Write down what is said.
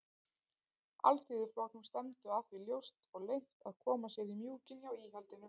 Alþýðuflokknum stefndu að því ljóst og leynt að koma sér í mjúkinn hjá íhaldinu.